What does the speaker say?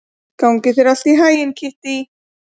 Gangi þér allt í haginn, Kittý.